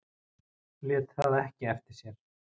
Lét það ekki eftir sér.